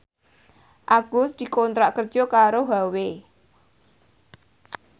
Agus dikontrak kerja karo Huawei